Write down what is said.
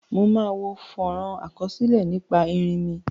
Mo wo fónrón àkásílẹ́ nípa erinmí